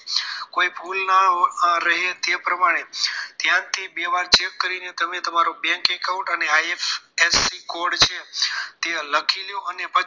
કોઈ ભૂલ ન રહે તે પ્રમાણે ધ્યાનથી બે વાર check કરી તમે તમારો bank account અને I R F C code છે તે લખી લો